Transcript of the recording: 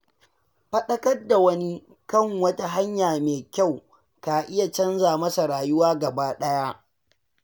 Faɗakar da wani kan wata hanya mai kyau ka iya canja masa rayuwa gaba ɗaya.